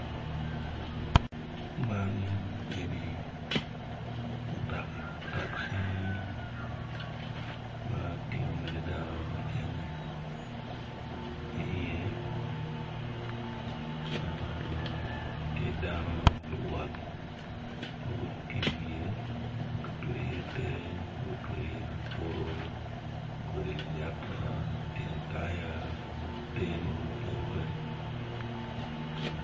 Man eni mutoka taci ma tingo mere dano me cene iye tye dano ma luwot ma iwie ma gutweyo iye te gutweyio iye kabuto, kodi layata, tyen taya ki te mogo mapadi padi.